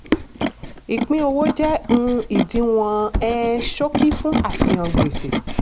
ìpín-owó jẹ́ um ìdíwọ̀n um ṣókí fún àfihàn gbèsè.